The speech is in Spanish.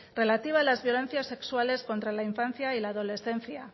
relativa a las violencias sexuales contra la infancia y la adolescencia